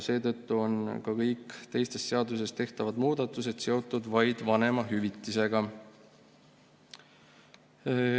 Seetõttu on ka kõik teistes seadustes tehtavad muudatused seotud vaid vanemahüvitisega.